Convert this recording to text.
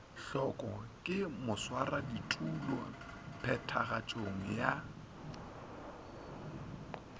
hloko ke baswaraditulo phethagatšong ya